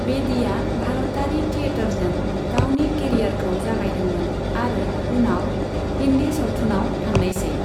बेदीआ भारतारि थिएटारजों गावनि केरियारखौ जागायदोंमोन आरो उनाव हिन्दी सावथुनाव थांनायसै।